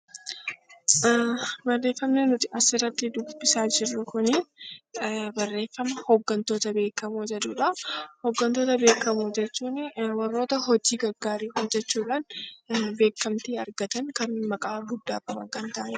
Barreeffamni nuti asirratti dubbisaa jirru kuni barreeffama 'Hoggantoota beekamoo' jedhu dha. Hoggantoota beekamoo jechuun warroota hojii gaggaarii hojjechuu dhaan beekamtii argatan, kan maqaa guddaa qaban kan ta'ani dha.